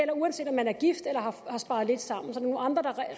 og uanset om man er gift eller har sparet lidt sammen er det nogle andre